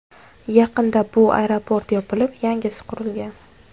Yaqinda bu aeroport yopilib, yangisi qurilgan.